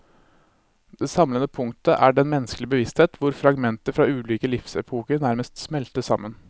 Det samlende punktet er den menneskelige bevissthet hvor fragmenter fra ulike livsepoker nærmest smelter sammen.